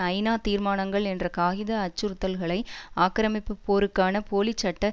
ஐநா தீர்மானங்கள் என்ற காகித அச்சுறுத்தல்களை ஆக்கிரமிப்பு போருக்கான போலிச் சட்ட